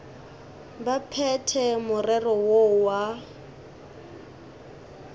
ba phethe morero woo wa